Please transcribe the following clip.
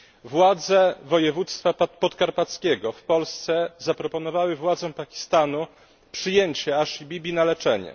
Władze województwa podkarpackiego w Polsce zaproponowały władzom Pakistanu przyjęcie Asii Bibi na leczenie.